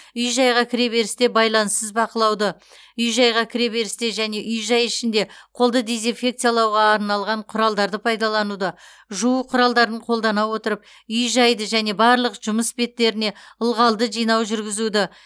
үй жайға кіреберісте байланыссыз бақылауды үй жайға кіреберісте және үй жай ішінде қолды дезинфекциялауға арналған құралдарды пайдалануды жуу құралдарын қолдана отырып үй жайды және барлық жұмыс беттеріне ылғалды жинау жүргізуді